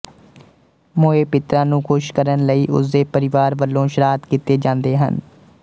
ਮੋਏ ਪਿਤਰਾਂ ਨੂੰ ਖੁਸ਼ ਕਰਨ ਲਈ ਉਸ ਦੇ ਪਰਿਵਾਰ ਵਲੋਂ ਸਰਾਧ ਕੀਤੇ ਜਾਂਦੇ ਹਨ